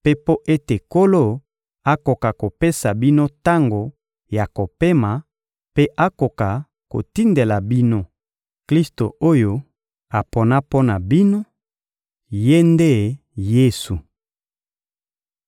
mpe mpo ete Nkolo akoka kopesa bino tango ya kopema mpe akoka kotindela bino Klisto oyo apona mpo na bino—Ye nde Yesu.